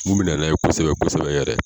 Mun mi nan'a ye kosɛbɛ kosɛbɛ yɛrɛ.